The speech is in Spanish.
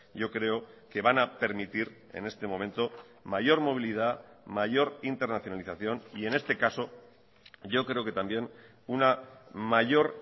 yo creo que van a permitir en este momento mayor movilidad mayor internacionalización y en este caso yo creo que también una mayor